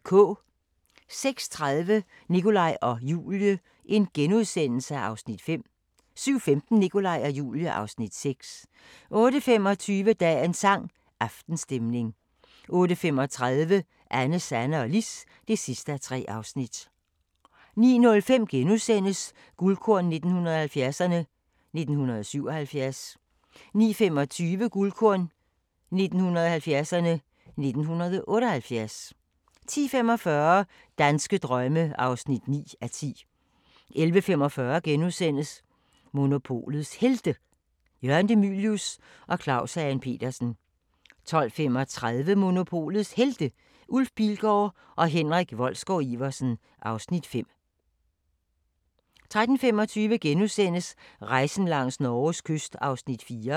06:30: Nikolaj og Julie (Afs. 5)* 07:15: Nikolaj og Julie (Afs. 6) 08:25: Dagens sang: Aftenstemning 08:35: Anne, Sanne og Lis (3:3) 09:05: Guldkorn 1970'erne: 1977 * 09:25: Guldkorn 1970'erne: 1978 10:45: Danske drømme (9:10) 11:45: Monopolets Helte – Jørgen De Mylius og Claus Hagen Petersen * 12:35: Monopolets Helte – Ulf Pilgaard og Henrik Wolsgaard-Iversen (Afs. 5) 13:25: Rejsen langs Norges kyst (4:10)*